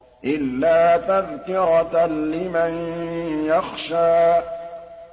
إِلَّا تَذْكِرَةً لِّمَن يَخْشَىٰ